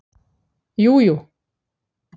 Jú jú